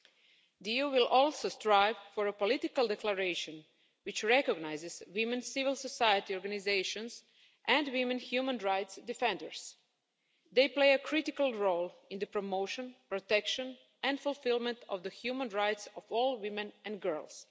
The EU will also strive for a political declaration which recognises women civil society organisations and women human rights defenders. They play a critical role in the promotion, protection and fulfilment of the human rights of all women and girls.